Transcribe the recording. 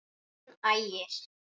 Þinn Ægir.